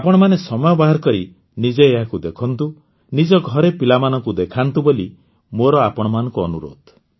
ଆପଣମାନେ ସମୟ ବାହାର କରି ନିଜେ ଏହାକୁ ଦେଖନ୍ତୁ ନିଜ ଘରେ ପିଲାମାନଙ୍କୁ ଦେଖାନ୍ତୁ ବୋଲି ମୋର ଆପଣମାନଙ୍କୁ ଅନୁରୋଧ